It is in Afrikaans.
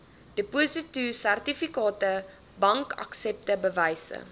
depositosertifikate bankaksepte bewyse